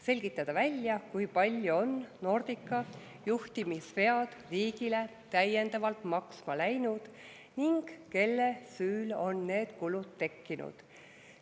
Selgitada välja, kui palju on Nordica juhtimisvead riigile täiendavalt maksma läinud ning kelle süül on need kulud tekkinud.